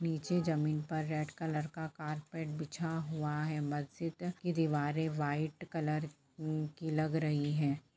नीचे जमीन पर रेड कलर का कार्पेट बीछा हुआ है मस्जिद की दिवारे व्हाइट कलर उ की लग रही है।